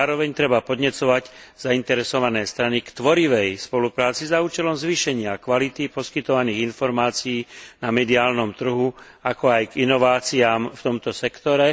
Zároveň treba podnecovať zainteresované strany k tvorivej spolupráci za účelom zvýšenia kvality poskytovaných informácií na mediálnom trhu, ako aj k inováciám v tomto sektore.